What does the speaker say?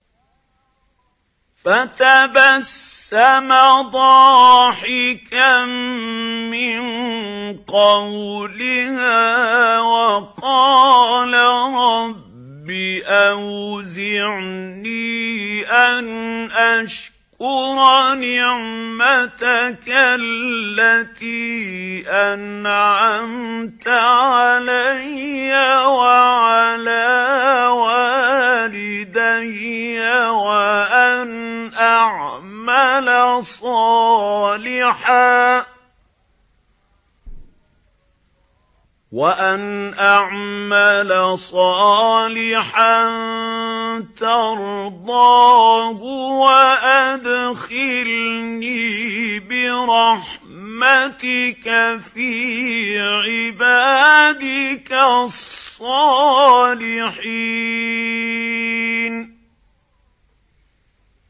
فَتَبَسَّمَ ضَاحِكًا مِّن قَوْلِهَا وَقَالَ رَبِّ أَوْزِعْنِي أَنْ أَشْكُرَ نِعْمَتَكَ الَّتِي أَنْعَمْتَ عَلَيَّ وَعَلَىٰ وَالِدَيَّ وَأَنْ أَعْمَلَ صَالِحًا تَرْضَاهُ وَأَدْخِلْنِي بِرَحْمَتِكَ فِي عِبَادِكَ الصَّالِحِينَ